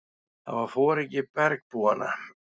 Það var foringi bergbúanna.